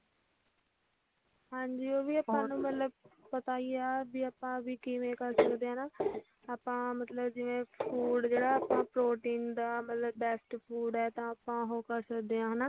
ਹਾਂਜੀ ਉਹ ਵੀ ਆਪਾ ਨੂੰ ਮਤਲਬ ਪਤਾ ਹੀ ਆ ਵੀ ਆਪਾ ਕਿਵੇਂ ਕਰ ਸਕਦੇ ਆ ਹਨਾਂ ਆਪਾ ਮਤਲੱਬ ਜਿਵੇ food ਜਿਹੜਾ protein ਦਾ ਮਤਲੱਬ best food ਆ ਤਾਂ ਆਪਾ ਮਤਲੱਬ ਉਹੋ ਕਰ ਸਕਦੇ ਆ ਆ